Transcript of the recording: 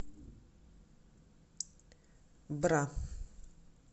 бра